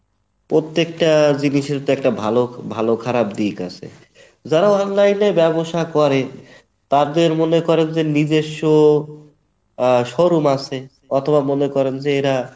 প্রত্যেকটা জিনিসের তো একটা ভালো ভালো খারাপ দিক আছে, যারা online এ ব্যাবসা করে তাদের মনে করেন যে নিজস্ব আহ showroom আছে অথবা মনে করেন যে এরা